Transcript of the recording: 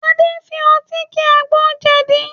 Adé fi ọtí ki àgbo jẹ̀dí